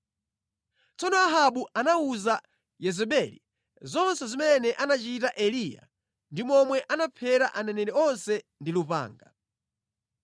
Tsono Ahabu anawuza Yezebeli zonse zimene anachita Eliya ndi momwe anaphera aneneri onse ndi lupanga.